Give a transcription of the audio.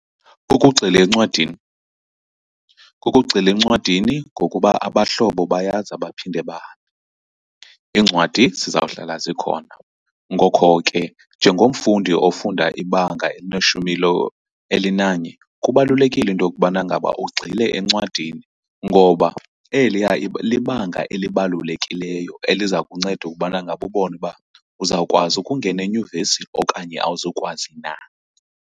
Kukugxila encwadini, kukugxila encwadini ngokuba abahlobo bayaza baphinde bahambe, iincwadi zizawuhlala zikhona. Ngokho ke njengomfundi ofunda ibanga elineshumi elinanye kubalulekile into yokubana ngaba ugxile encwadini, ngoba eliya libanga elibalulekileyo eliza kunceda ukubana ngaba ubone uba uzawukwazi ukungena enyuvesi okanye awuzukwazi na.